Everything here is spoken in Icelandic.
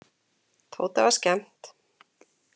Tóta var skemmt.